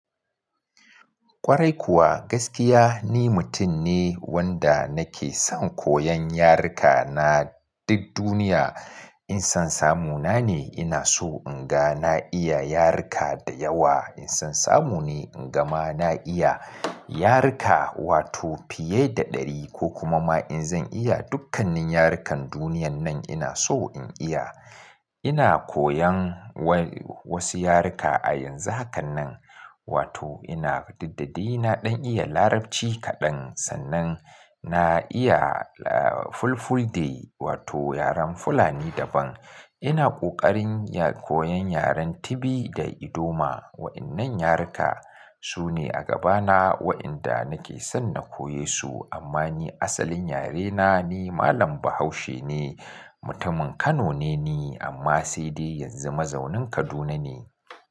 Ƙwarai kuwa, gaskiya ni mutum ne wanda nake son koyon yaruka na duk duniya. In san samu na ne, ina so in ga na iya yaruka da yawa. In san samu ne, inga ma na iya yaruka fiye da ɗari, kokuma ma in zan iya dukkanin yarukan duniyar nan ina so in iya. Ina koyan wai wasu yaruka a yanzu hakan nan, wato ina diddadai na ɗan iya Larabci kaɗan, sannan na iya, ah, Fulfulde wato yaren Fulani daban. Ina ƙoƙarin ya koyan yaren Tibi da ldoma. Wa'innan yaruka su ne a gabana wa'inda nake son na koye su, amma ni asalin yarena ni Malam Bahaushe ne, mutumin Kano ne ni, amma sai dai yanzu mazaunin Kaduna ne.